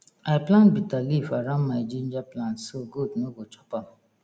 i plant bitter leaf around my ginger plant so goat no go chop am